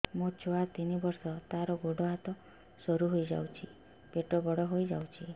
ମୋ ଛୁଆ ତିନି ବର୍ଷ ତାର ଗୋଡ ହାତ ସରୁ ହୋଇଯାଉଛି ପେଟ ବଡ ହୋଇ ଯାଉଛି